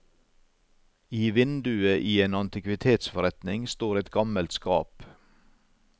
I vinduet i en antikvitetsforretning står et gammelt skap.